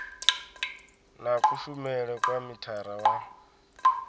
na kushumele kwa mithara wa